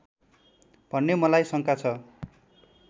भन्ने मलाई शङ्का छ